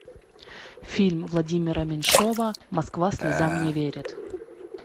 фильм владимира меньшова москва слезам не верит